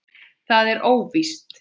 Það er óvíst.